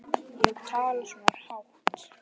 Ekki tala svona hátt.